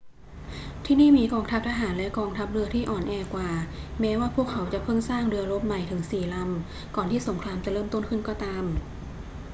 ที่นี่มีกองทัพทหารและกองทัพเรือที่อ่อนแอกว่า แม้ว่าพวกเขาจะเพิ่งสร้างเรือรบใหม่ถึงสี่ลำก่อนที่สงครามจะเริ่มต้นขึ้นก็ตาม